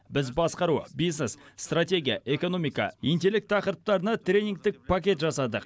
біз басқару бизнес стратегия экономика интеллект тақырыптарына тренингтік пакет жасадық